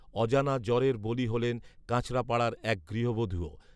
অজানা জ্বরের বলি হলেন কাঁচরাপাড়ার এক গৃহবধূও